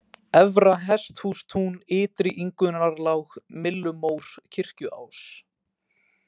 Efra-Hesthústún, Ytri-Ingunnarlág, Myllumór, Kirkjuás